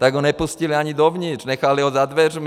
Tak ho nepustili ani dovnitř, nechali ho za dveřmi.